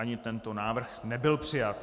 Ani tento návrh nebyl přijat.